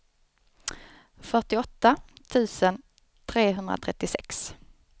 fyrtioåtta tusen trehundratrettiosex